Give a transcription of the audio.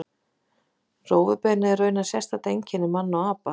Rófubeinið er raunar sérstakt einkenni manna og apa.